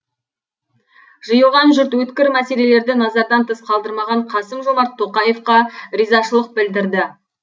жиылған жұрт өткір мәселелерді назардан тыс қалдырмаған қасым жомарт тоқаевқа ризашылық білдірді